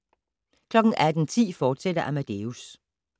18:10: Amadeus, fortsat